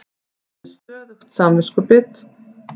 Ég var með stöðugt samviskubit.